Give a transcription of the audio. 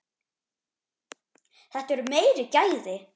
Þetta eru meiri gæði.